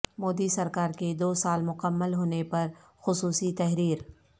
مودی سرکا ر کے دو سال مکمل ہونے پر خصوصی تحریر